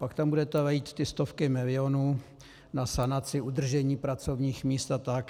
Pak tam budete lít ty stovky milionů na sanaci, udržení pracovních míst a tak.